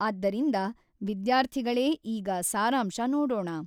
ಆದ್ದರಿಂದ ವಿದ್ಯಾರ್ಥಿಗಳೇ ಈಗ ಸಾರಾಂಶ ನೋಡೋಣ.